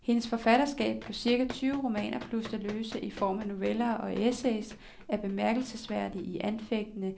Hendes forfatterskab på cirka tyve romaner, plus det løse i form af noveller og essays, er bemærkelsesværdig og anfægtende